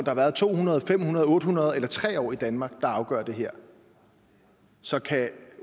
har været to hundrede fem hundrede otte hundrede eller tre år i danmark der afgør det her så kan